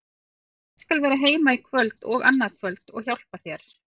Ég skal vera heima í kvöld og annað kvöld og hjálpa þér.